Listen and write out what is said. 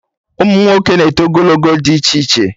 Ụmụnwoke na-eto ogologo dị iche iche